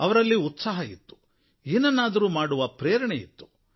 ಅವರಲ್ಲಿ ಉತ್ಸಾಹ ಇತ್ತು ಏನನ್ನಾದರೂ ಮಾಡುವ ಪ್ರೇರಣೆ ಇತ್ತು